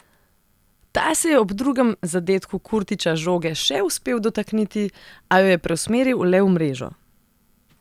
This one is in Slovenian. Ta se je ob drugem zadetku Kurtića žoge še uspel dotakniti, a jo je preusmeril le v mrežo.